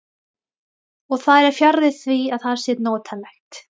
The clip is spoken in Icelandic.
Og það er fjarri því að það sé notalegt.